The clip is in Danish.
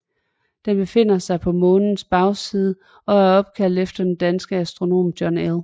Det befinder sig på Månens bagside og er opkaldt efter den danske astronom John L